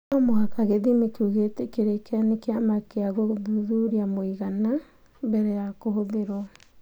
No mũhaka gĩthimi kĩu gĩtĩkĩrĩke nĩ kĩama kĩa gũthuthuria mũigana, mbere ya kũhũthĩrũo.